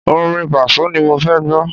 Orin Pàsó ni mo fẹ́ gbọ́.